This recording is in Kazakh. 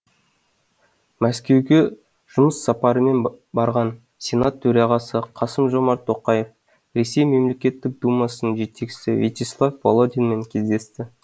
мәскеуге жұмыс сапарымен барған сенат төрағасы қасым жомарт тоқаев ресей мемлекеттік думасының жетекшісі вячеслав володинмен кездесті